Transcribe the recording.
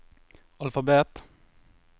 alfabet